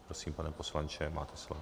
Prosím, pane poslanče, máte slovo.